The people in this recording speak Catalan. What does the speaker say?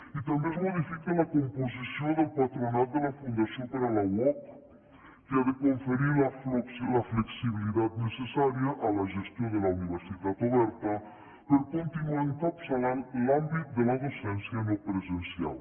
i també es modifica la composició del patronat de la fundació per a la uoc que ha de conferir la flexibilitat necessària a la gestió de la universitat oberta per continuar encapçalant l’àmbit de la docència no presencial